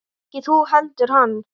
Ekki þú heldur hann.